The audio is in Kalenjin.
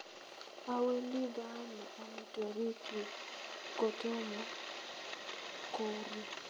Awendi baame amitwogikyuk kotomo kouryo